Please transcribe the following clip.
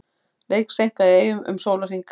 Leik seinkað í Eyjum um sólarhring